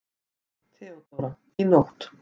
THEODÓRA: Í nótt.